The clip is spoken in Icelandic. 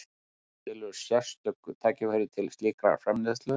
Til eru sérstök tæki til slíkrar framleiðslu.